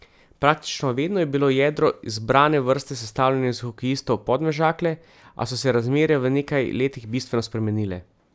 Praktično vedno je bilo jedro izbrane vrste sestavljeno iz hokejistov Podmežakle, a so se razmere v nekaj letih bistveno spremenile.